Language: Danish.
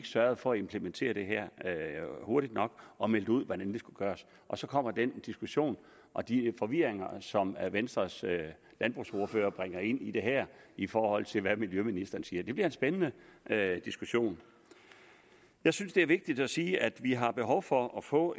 sørget for at implementere det her hurtigt nok og melde ud hvordan det skulle gøres og så kommer den diskussion og de forvirringer som venstres landbrugsordfører bringer ind i det her i forhold til hvad miljøministeren siger det bliver en spændende diskussion jeg synes det er vigtigt at sige at vi har behov for at få